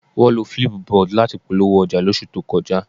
Wọ́n lo flipboard láti fi polówó ọjà lóṣù tó kọjá